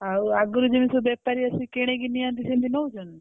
ଆଉ ଆଗରୁ ଯେମିତି ସବୁ ବେପାରୀ ଆସିକି କିଣିକି ନିଅନ୍ତି ସେମିତି ନଉଛନ୍ତି?